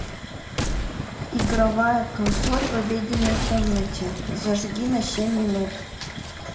игровая консоль в обеденной комнате зажги на семь минут